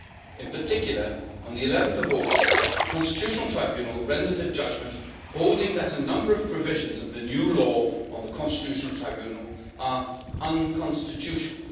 In particular, on 11 August, the Constitutional Tribunal rendered a judgment holding that a number of provisions of the new law on the Constitutional Tribunal are unconstitutional.